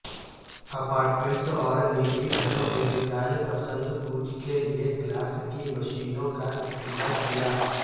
apartments اور نجی گھروں اعتدال پسند بوجھ کے لئے کلاس کی مشینوں کا استعمال کیا